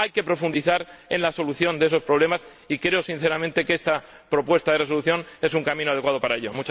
Hay que profundizar en la solución de esos problemas y creo, sinceramente, que esta propuesta de resolución es un camino adecuado para ello.